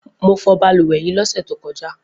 Mo fọ balùwẹ̀ yìí lọ́sẹ̀ tó kọjá